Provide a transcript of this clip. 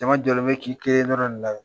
Daramani Jalo bɛ k'i kelen dɔrɔn de lajɛ .